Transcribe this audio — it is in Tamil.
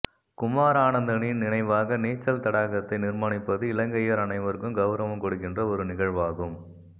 குமார் ஆனந்தனின் நினைவாக நீச்சல் தடாகத்தை நிர்மாணிப்பது இலங்கையர் அனைவருக்கும் கௌரவம் கொடுக்கின்ற ஒரு நிகழ்வாகும்